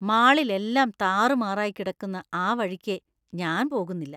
മാളിൽ എല്ലാം താറുമാറായി കിടക്കുന്ന ആ വഴിക്കേ ഞാൻ പോകുന്നില്ല.